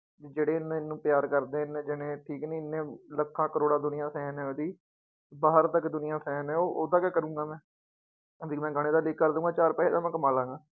ਜਿਹੜੇ ਮੈਨੂੰ ਪਿਆਰ ਕਰਦੇ ਇੰਨੇ ਜਾਣੇ ਠੀਕ ਨੀ ਇੰਨੇ ਲੱਖਾਂ ਕਰੌੜਾਂ ਦੁਨੀਆਂ fan ਹੈ ਉਹਦੀ ਬਾਹਰ ਤੱਕ ਦੁਨੀਆਂ fan ਹੈ ਉਹ ਉਹਦਾ ਕਿਆ ਕਰਾਂਗਾ ਮੈਂ, ਵੀ ਮੈਂ ਗਾਣੇ ਤਾਂ leak ਕਰ ਦਊਂਗਾ ਚਾਰ ਪੈਸੇ ਤਾਂ ਮੈਂ ਕਮਾ ਲਵਾਂਗਾ।